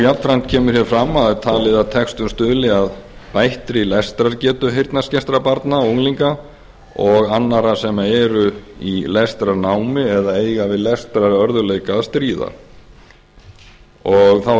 jafnframt kemur hér fram að það er talið að textun stuðli að bættri lestrargetu heyrnarskertra barna og unglinga og annarra sem eru í lestrarnámi eða eiga við lestrarörðugleika að stríða þá er